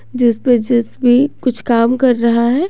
जिस पर जे_सी_बी कुछ काम कर रहा है।